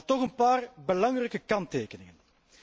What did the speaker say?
Maar toch een paar belangrijke kanttekeningen.